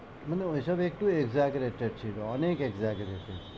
মানে ওই সব একটু exaggerated ছিল অনেক exaggerated